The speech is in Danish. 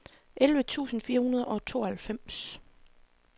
elleve tusind fire hundrede og tooghalvfems